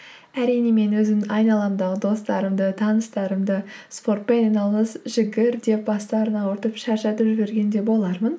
әрине мен өзімнің айналамдағы достарымды таныстарымды спортпен айналыс жүгір деп бастарын ауыртып шаршатып жіберген де болармын